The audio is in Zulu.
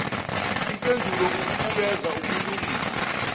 impendulo ukubukeza ukulungisa